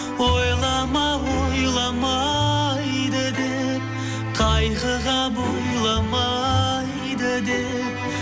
ойлама ойламайды деп қайғыға бойламайды деп